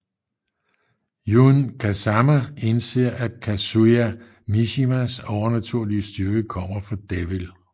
Jun Kazama indser at Kazuya Mishimas overnaturlige styrke kommer fra Devil